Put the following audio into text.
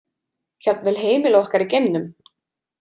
Jafnvel heimili okkar í geimnum.